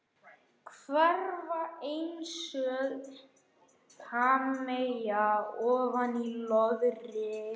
Hverfa einsog hafmeyja ofan í löðrið.